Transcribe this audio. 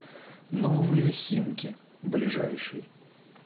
новые химки ближайший